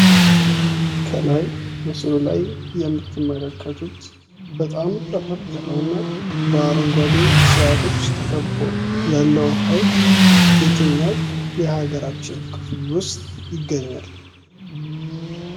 ከላይ ምስሉ ላይ የምትመለከቱት በጣም ጥርት ያለውን እና በአረንጓዴ እፅዋቶች ተከቦ ያለው ሃይቅ የትኛው የሀገራችን ክፍል ውስጥ ይገኛል።